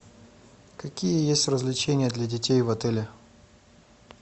какие есть развлечения для детей в отеле